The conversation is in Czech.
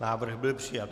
Návrh byl přijat.